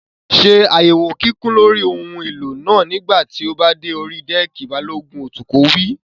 Ṣé àyẹ̀wò kíkún lórí ohun èlò náà nígbà tí o bá dé orí dẹ́ẹ̀kì! Balógun atukọ̀ wí.